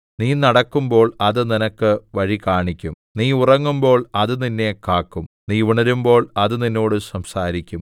നീ നടക്കുമ്പോൾ അത് നിനക്ക് വഴികാണിക്കും നീ ഉറങ്ങുമ്പോൾ അത് നിന്നെ കാക്കും നീ ഉണരുമ്പോൾ അത് നിന്നോട് സംസാരിക്കും